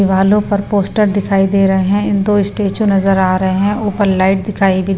दिवालो पर पोस्टर दिखाई दे रहे हैं इन दो स्टैचू नजर आ रहे हैं ऊपर लाइट दिखाई भी--